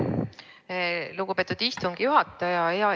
Aitäh, lugupeetud istungi juhataja!